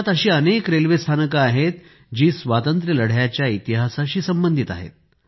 देशांत अशी अनेक रेल्वे स्थानके आहेतजी स्वातंत्र्यलढ्याच्या इतिहासाशी संबंधित आहेत